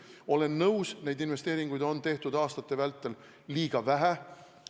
Olen nõus, et neid investeeringuid on tehtud aastate vältel liiga vähe.